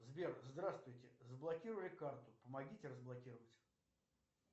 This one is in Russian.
сбер здравствуйте заблокировали карту помогите разблокировать